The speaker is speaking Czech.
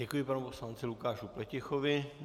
Děkuji panu poslanci Lukáši Pletichovi.